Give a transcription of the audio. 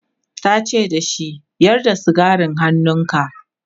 tace da shi"Yar da sigarin hannunka!'